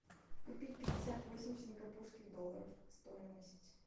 купить пятьдесят восемь сингапурских долларов стоимость